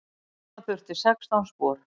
Sauma þurfti sextán spor.